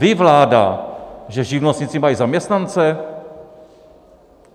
Ví vláda, že živnostníci mají zaměstnance?